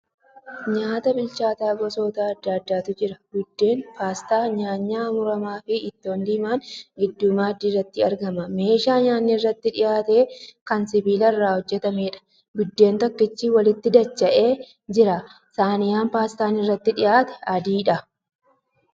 Nyaata bilchaata gosoota adda addaatu jira. Buddeen, paastaa, nyaanyaa muramaafi ittoo diimaan gidduu maaddii irratti argama. Meeshaa nyaanni irratti dhiyaate kan sibiila irraa hojjatameedha. Buddeen tokkichi walitti dacha'ee jira. Saayinaa paastaan irratti dhiyaate adiidha.